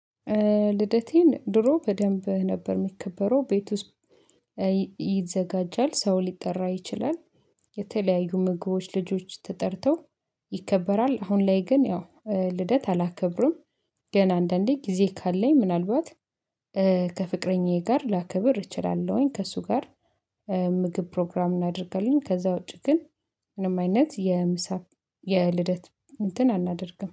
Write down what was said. ልደቴን ድሮ በደንብ ነበር የሚከበረው ቤት ውስጥ ይዘጋጃል ሰው ሊጠራ ይችላል። የተለያዩ ምግቦች ልጆች ተጠርተው ይከበራል። አሁን ላይ ግን ያው ልደት አላከብሩም። ግን አንዳንዴ ጊዜ ካለኝ ምናልባት ከፍቅረኛዬ ጋር ላከብር እችላለሁኝ ከእሱ ጋር ምግብ ፕሮግራም እናደርጋለን። ከዛ ውጪ ግን ምንም አይነት የምሳ የልደት እንትን አናደርግም